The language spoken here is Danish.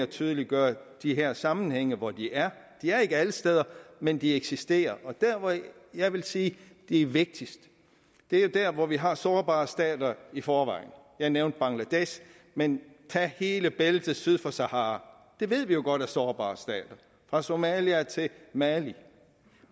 tydeliggøre de her sammenhænge hvor de er de er ikke alle steder men de eksisterer og der hvor jeg jeg vil sige de er vigtigst er der hvor vi har sårbare stater i forvejen jeg nævnte bangladesh men tag hele bæltet syd for sahara det ved vi jo godt er sårbare stater fra somalia til mali